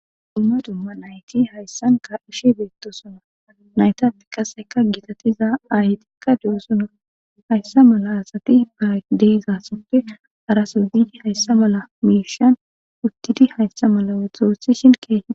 Dumma dumma nayti hayssan ka ishe beettosuna naytati kaseka gitatiza ahetikka de7o sunor hayssa mala asati ba deizassoppe araso ziidi hayssa mala miishan uttidi hayssa mala woxooshi shin keehia.